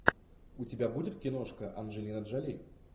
у тебя будет киношка анджелина джоли